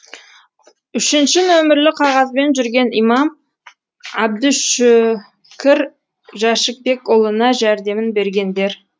үшінші нөмірлі қағазбен жүрген имам әбдүшүкір жәшікбекұлына жәрдемін бергендер